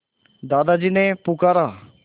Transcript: दादाजी ने पुकारा